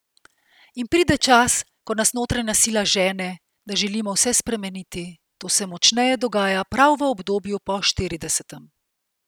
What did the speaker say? In pride čas, ko nas notranja sila žene, da želimo vse spremeniti, to se močneje dogaja prav v obdobju po štiridesetem.